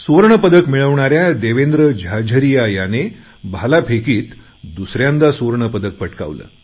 सुवर्ण पदक मिळवणाऱ्या देवेंद्र झाझरीया याने भालाफेकीत दुसऱ्यांदा सुवर्ण पदक पटकावले